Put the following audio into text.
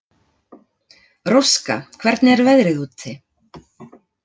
Róska, hvernig er veðrið úti?